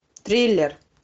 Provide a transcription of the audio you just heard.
триллер